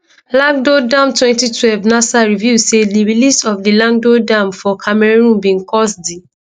lagdo dam 2012 nasa reveal say di release of di lagdo dam for cameroon bin cause d